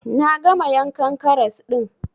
Na gama yankan karas ɗin